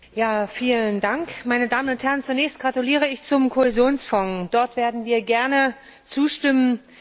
Herr Präsident, meine Damen und Herren! Zunächst gratuliere ich zum Kohäsionsfonds! Dort werden wir gerne zustimmen.